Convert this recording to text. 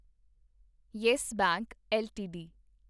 yes Bank LTD